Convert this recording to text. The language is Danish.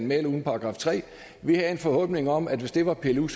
med eller uden § 3 vi havde en forhåbning om at hvis det var pillet ud